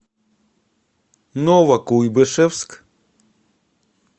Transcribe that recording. новокуйбышевск